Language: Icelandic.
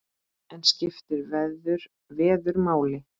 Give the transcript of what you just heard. En skiptir veður máli?